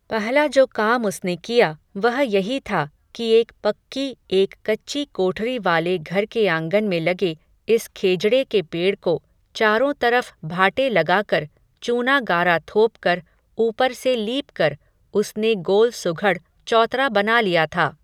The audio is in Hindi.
पहला जो काम उसने किया, वह यही था, कि एक पक्की एक कच्ची कोठरी वाले घर के आंगन में लगे, इस खेजड़े के पेड़ को, चारों तरफ़ भाटे लगाकर, चूना गारा थोप कर, ऊपर से लीप कर, उसने गोल सुघड़ चौतरा बना लिया था